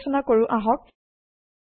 পৰ্য্যালোচনা কৰো আহক